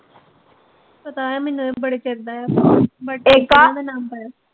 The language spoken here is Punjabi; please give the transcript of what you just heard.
ਪਤਾ ਐ ਮੈਨੂੰ ਏਹ ਬੜੇ ਚਿਰ ਦਾ